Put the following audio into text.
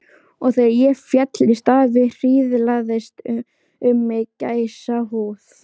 Og þegar ég féll í stafi hríslaðist um mig gæsahúð.